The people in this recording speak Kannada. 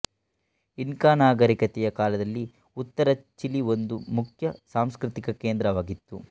ಇನ್ಕಾ ನಾಗರಿಕತೆಯ ಕಾಲದಲ್ಲಿ ಉತ್ತರ ಚಿಲಿ ಒಂದು ಮುಖ್ಯ ಸಾಂಸ್ಕೃತಿಕ ಕೇಂದ್ರವಾಗಿತ್ತು